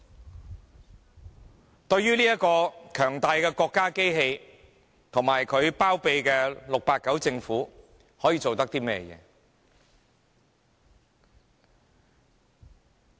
面對這個強大的國家機器及其包庇的 "689" 政府，市民可以做甚麼呢？